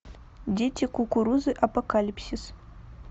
дети кукурузы апокалипсис